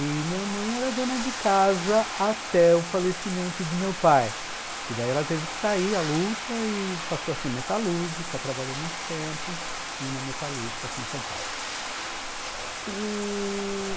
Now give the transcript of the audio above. E minha mãe era dona de casa até o falecimento de meu pai, porque daí ela teve que sair à luta e passou a ser metalúrgica, trabalhou muito tempo em uma metalúrgica aqui em São Paulo.